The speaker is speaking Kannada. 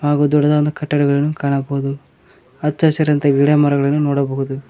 ಹಾಗು ದೊಡ್ಡದಾದಂತಹ ಕಟ್ಟಡಗಳನ್ನು ಕಾಣಬಹುದು ಅಚ್ಚ ಹಸಿರಂತ ಗಿಡ ಮರಗಳನ್ನು ನೋಡಬಹುದು.